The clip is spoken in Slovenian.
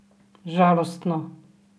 Žalostno?